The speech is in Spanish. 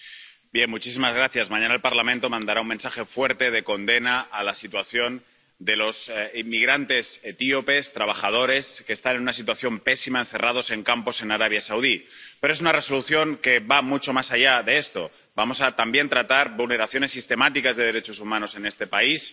Señora presidenta, mañana el Parlamento mandará un mensaje fuerte de condena a la situación de los inmigrantes etíopes, trabajadores que están en una situación pésima encerrados en campos en Arabia Saudí, pero es una Resolución que va mucho más allá de eso vamos también a tratar vulneraciones sistemáticas de derechos humanos en ese país